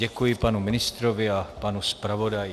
Děkuji panu ministrovi a panu zpravodaji.